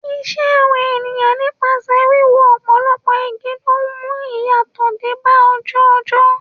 Ìṣe àwọn èèyàn nípasẹ̀ wíwó ọ̀pọ̀lọpọ̀ igi ló ń mú ìyàtọ̀ dé bá ojú ọjọ́.